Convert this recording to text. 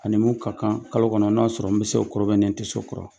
A ni mun ka kan kalo kɔnɔ n'a sɔrɔ n bɛ se o kɔrɔ n tɛ se o kɔrɔ